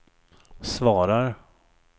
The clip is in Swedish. svarar